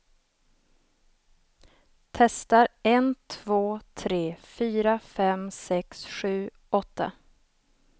Testar en två tre fyra fem sex sju åtta.